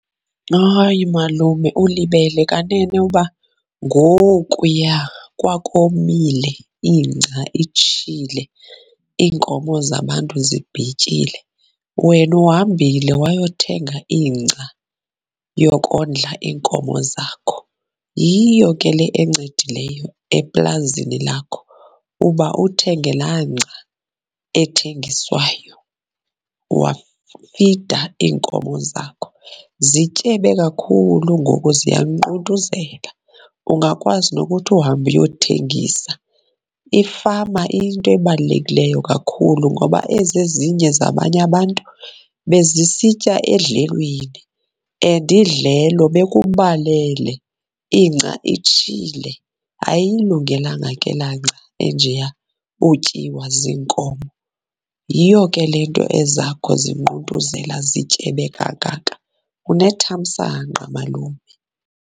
Hay malume, ulibele kanene uba ngokuya kwakomile ingca itshile, iinkomo zabantu zibhityile, wena uhambile wayothenga ingca yokondla iinkomo zakho. Yiyo ke le encedileyo eplazini lakho, uba uthenge laa ngca ethengiswayo wafida iinkomo zakho. Zityebe kakhulu ngoku ziyanquntuzela, ungakwazi nokuthi uhambe uyothengisa. Ifama iyinto ebalulekileyo kakhulu ngoba ezi ezinye zabanye abantu bezisitya edlelweni and idlelo bekubalele, ingca itshile. Ayiyilungelanga ke laa ngca enjeya utyiwa ziinkomo, yiyo ke le nto ezakho zinquntuzela zityebe kangaka. Unethamsanqa malume.